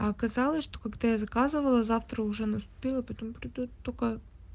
а оказалось что когда я заказывала завтра уже наступило потом приду только